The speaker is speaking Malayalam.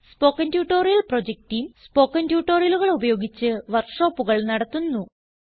spoken tutorial project team spoken ട്യൂട്ടോറിയലുകൾ ഉപയോഗിച്ച് വർക്ക് ഷോപ്പുകൾ നടത്തുന്നു